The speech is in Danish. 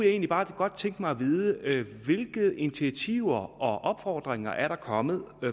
egentlig bare godt tænke mig at vide hvilke initiativer og opfordringer der er kommet